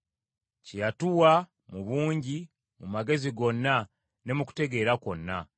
kye yatuwa mu bungi mu magezi gonna ne mu kutegeera kwonna.